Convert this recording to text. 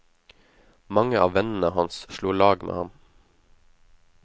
Mange av vennene hans slo lag med han.